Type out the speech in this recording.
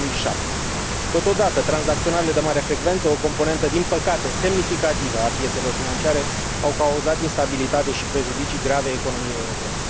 2007. Totodată, tranzacționările de mare frecvență, o componentă din păcate semnificativă a piețelor financiare, au cauzat instabilitate și prejudicii grave economiei europene.